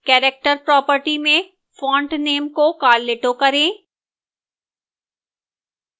character property में font name को carlito करें